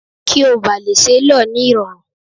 Kí ó bá lè ṣe lọ ní irọrun.